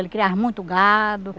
Ele criava muito gado.